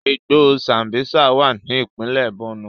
Igbó Sambísa wà ní ìpínlẹ̀ Borno